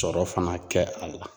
Sɔrɔ fana kɛ a la.